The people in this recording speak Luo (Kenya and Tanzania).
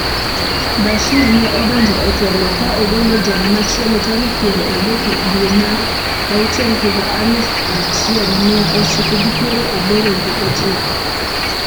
Bashir ne odonjo e telo ka ogolo jal machielo tarik piero adek dwe mar auchiel higa aluf achiel mia ochiko gi piero aboro gi achiko.